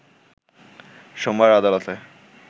সোমবার আদালতে